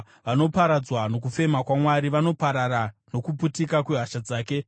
Vanoparadzwa nokufema kwaMwari; vanoparara nokuputika kwehasha dzake.